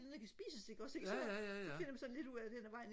noget der kan spises ikke også ikke så det finder man sådan lidt ud af hen ad vejen